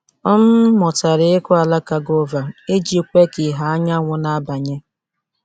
M mụtara ịkụ alaka guava iji kwe ka ìhè anyanwụ na-abanye.